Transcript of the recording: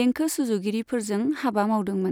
देंखो सुजुगिरिफोरजों हाबा मावदोंमोन।